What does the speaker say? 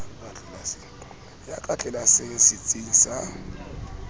ya ka tlelaseng setsing sa